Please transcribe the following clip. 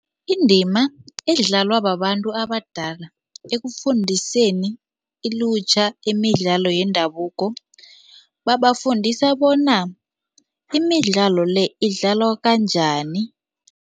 Indima edlalwa babantu abadala ekufundiseni ilutjha imidlalo yendabuko, babafundisa bona imidlalo le idlalwa kanjani.